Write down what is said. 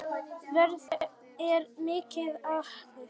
Veðrið er mikið atriði.